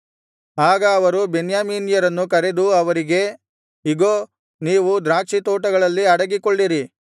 ಆಗ ಅವರು ಬೆನ್ಯಾಮೀನ್ಯರನ್ನು ಕರೆದು ಅವರಿಗೆ ಇಗೋ ನೀವು ದ್ರಾಕ್ಷಿತೋಟಗಳಲ್ಲಿ ಅಡಗಿಕೊಳ್ಳಿರಿ